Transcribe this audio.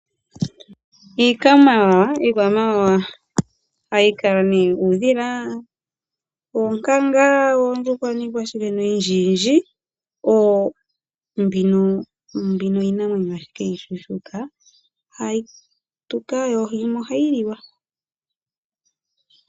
Iikwamawawa ohayi kala nee uudhila, oonkanga, oondjuhwa niikwawo oyindjindji mbino iinamwenyo ashike iishushuka hayi tuka yimwe ohayi liwa.